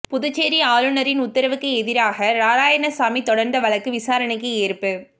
புதுச்சேரி ஆளுநரின் உத்தரவுக்கு எதிராக நாராயணசாமி தொடர்ந்த வழக்கு விசாரணைக்கு ஏற்பு